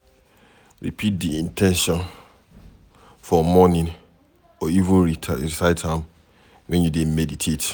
Repeat di in ten tion for morning or even recite am when you dey meditate